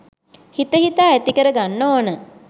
හිත හිතා ඇතිකර ගන්න ඕන.